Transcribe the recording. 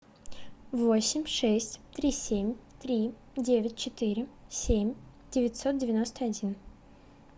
восемь шесть три семь три девять четыре семь девятьсот девяносто один